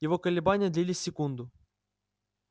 его колебания длились секунду